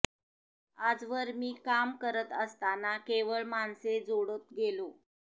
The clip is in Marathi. आजवर मी काम करत असताना केवळ माणसे जोडत गेलो